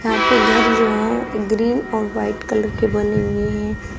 यहां पे घर जो है ग्रीन और व्हाइट कलर के बने हुए हैं।